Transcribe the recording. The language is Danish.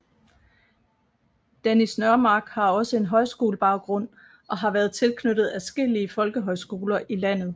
Dennis Nørmark har også en højskolebaggrund og har været tilknyttet adskillige folkehøjskoler i landet